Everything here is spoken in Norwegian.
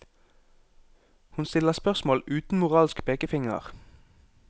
Hun stiller spørsmål uten moralsk pekefinger.